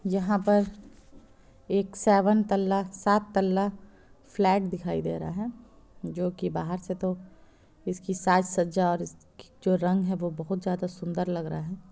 यहा पर एक सेवन तल्ला सात तल्ला फ्लैट दिखाई दे रहा है जो कि बाहर से तो इसकी साज-सज्जा और इसकी जो रंग है बहुत ज्यादा सुंदर लग रहा है।